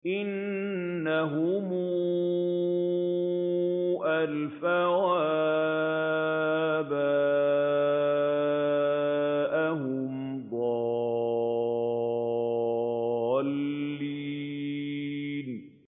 إِنَّهُمْ أَلْفَوْا آبَاءَهُمْ ضَالِّينَ